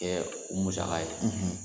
u musaka ye